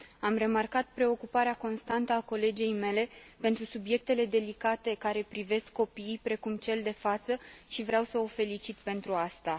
Am remarcat preocuparea constantă a colegei mele pentru subiectele delicate care privesc copiii, precum cel de față, și vreau să o felicit pentru aceasta.